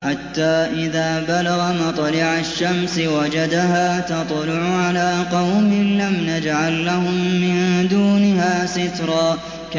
حَتَّىٰ إِذَا بَلَغَ مَطْلِعَ الشَّمْسِ وَجَدَهَا تَطْلُعُ عَلَىٰ قَوْمٍ لَّمْ نَجْعَل لَّهُم مِّن دُونِهَا سِتْرًا